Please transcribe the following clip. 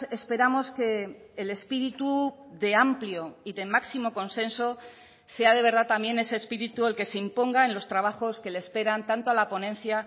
esperamos que el espíritu de amplio y de máximo consenso sea de verdad también ese espíritu el que se imponga en los trabajos que le esperan tanto a la ponencia